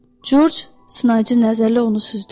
Corc sınayıcı nəzərlə onu süzdü.